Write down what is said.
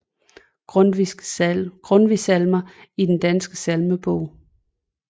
Grundtvig Salmer i Den Danske Salmebog